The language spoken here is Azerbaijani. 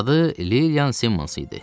Adı Lilian Simans idi.